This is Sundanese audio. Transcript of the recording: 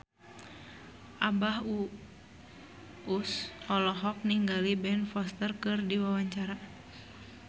Abah Us Us olohok ningali Ben Foster keur diwawancara